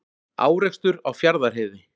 Árekstur á Fjarðarheiði